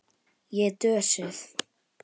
Ég er dösuð.